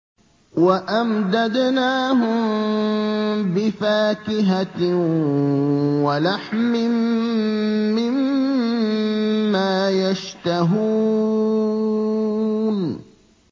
وَأَمْدَدْنَاهُم بِفَاكِهَةٍ وَلَحْمٍ مِّمَّا يَشْتَهُونَ